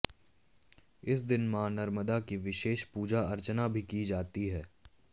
इस दिन मां नर्मदा की विशेष पूजा अर्चना भी की जाती है